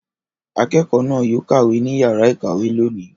Akẹ́kọ̀ọ́ náà yóò kàwé ní ìyàrá-ìkàwé lónìí.